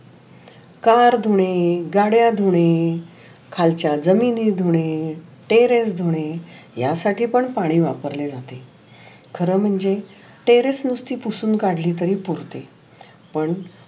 Car धुणे, गाड्या धुणे, खालचा जमिनी धुणे, टेरेस धुणे या साठी पाणी पण वापरलेल जाते. खर म्हणजे टेरेस नुस्ती पुसून काढली तरी पुरते. पण